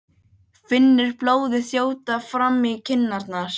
Finnur blóðið þjóta fram í kinnarnar.